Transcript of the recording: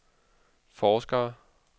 forskere